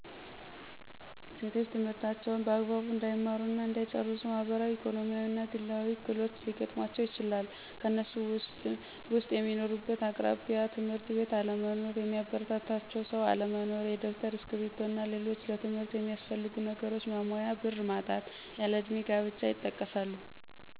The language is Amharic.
ሴቶች ትምህርታቸውን በአግባቡ እንዳይማሩ እና እንዳይጨርሱ ማህበራዊ፣ ኢኮኖሚያዊ እና ግላዊ እክሎች ሊገጥሙአቸው ይችላል። ከነሱም ውስጥ፦ በሚኖሩበት አቅራቢያ የ ትምህርት ቤት አለመኖር፣ የሚያበረታታቸው ሰው አለመኖር፣ የደብተር፤ እስክርቢቶ እና ሌሎችም ለትምህርት ሚያስፈልጉ ነገሮች ማሟያ ብር ማጣት፣ ያለ እድሜ ጋብቻ ይጠቀሳሉ።